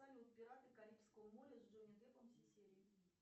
салют пираты карибского моря с джонни деппом все серии